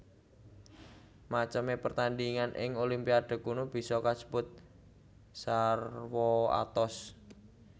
Macemé pertandhingan ing Olimpiade kuno bisa kasebut sarwa atos